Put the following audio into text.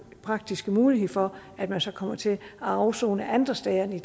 praktisk mulighed for at man så kommer til at afsone andre steder end